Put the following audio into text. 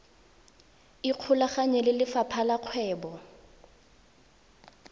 ikgolaganye le lefapha la kgwebo